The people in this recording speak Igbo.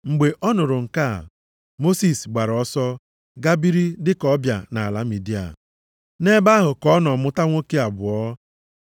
Mgbe ọ nụrụ nke a, Mosis gbara ọsọ, gaa biri dị ka ọbịa nʼala Midia. Nʼebe ahụ ka ọ nọ mụta ụmụ nwoke abụọ.